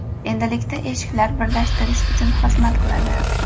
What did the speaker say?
Endilikda eshiklar birlashtirish uchun xizmat qiladi!